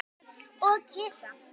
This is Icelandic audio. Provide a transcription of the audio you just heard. Og kisa.